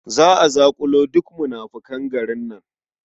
Za a zaƙulo duk munafukan garin nan.